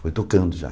Foi tocando já.